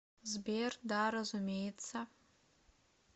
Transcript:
сбер да разумеется